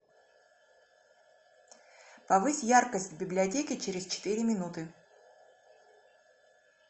повысь яркость в библиотеке через четыре минуты